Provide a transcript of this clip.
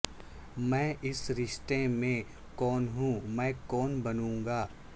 میں اس رشتے میں کون ہوں میں کون بنوں گا